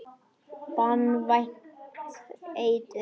Banvænt eitur.